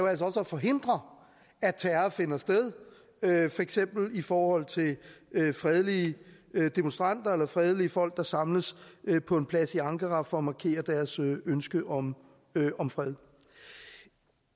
at forhindre at terror finder sted for eksempel i forhold til fredelige demonstranter eller fredelige folk der samles på en plads i ankara for at markere deres ønske om om fred